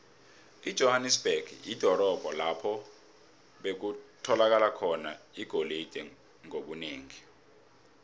ijohanesberg lidorobho lapho bekutholakala khona igolide ngobunengi